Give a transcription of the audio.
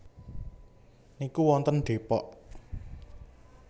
niku wonten Depok